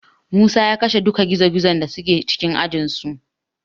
Musa ya kashe duka gizogizon da suke cikin ajinsu.